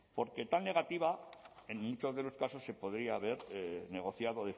porque tal negativa en muchos de los casos se podría haber negociado